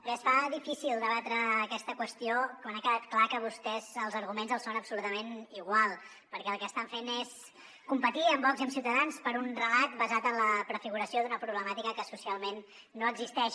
bé es fa difícil debatre aquesta qüestió quan ha quedat clar que a vostès els arguments els són absolutament igual perquè el que estan fent és competir amb vox i amb ciutadans per un relat basat en la prefiguració d’una problemàtica que socialment no existeix